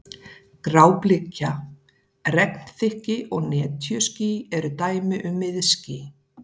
Gráblika, regnþykkni og netjuský eru dæmi um miðský.